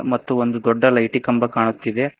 ಮತ್ತು ಒಂದು ದೊಡ್ಡ ಲೈಟಿ ಕಂಬ ಕಾಣುತ್ತಿದೆ.